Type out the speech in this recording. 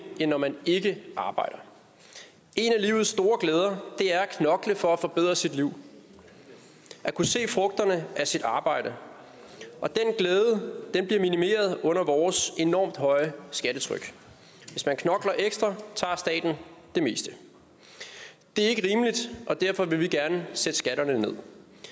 end når man ikke arbejder en af livets store glæder er at knokle for at forbedre sit liv at kunne se frugterne af sit arbejde og den glæde bliver minimeret under vores enormt høje skattetryk hvis man knokler ekstra tager staten det meste det er ikke rimeligt og derfor vil vi gerne sætte skatterne ned